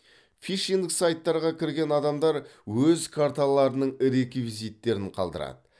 фишинг сайттарға кірген адамдар өз карталарының реквизиттерін қалдырады